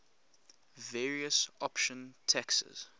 various option taxes